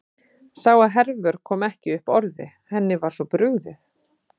Sá að Hervör kom ekki upp orði, henni var svo brugðið.